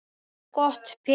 Og gott betur.